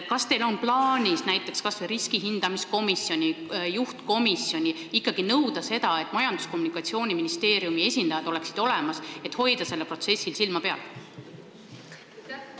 Kas teil on plaanis – näiteks kas või riskihindamise komisjonil, juhtkomisjonil – ikkagi nõuda, et Majandus- ja Kommunikatsiooniministeeriumi esindajad oleksid olemas ja hoiaksid sellel protsessil silma peal?